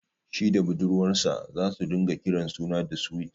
Shi da budurwar sa zasu ringa kiran juna da "Sweet".